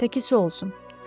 Təki su olsun.